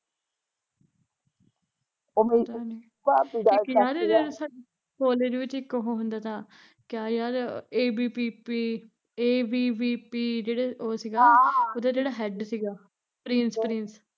ਪਤਾ ਨੀ ਇੱਕ ਯਾਰ ਜਿਹਦਾ ਸਾਡੇ ਕੋਲੇਜ ਵਿੱਚ ਇੱਕ ਉਹ ਹੁੰਦਾ ਤਾ ਕਿਆ ਯਾਰ A B P B, A B P B ਉਹ ਜਿਹੜੇ ਸੀਗੀ ਹਮ ਉਹਦਾ ਜਿਹੜਾ ਹੈਂਡ ਸੀਗਾ ਉਹਦਾ ਪ੍ਰਿੰਸ ਪ੍ਰਿੰਸ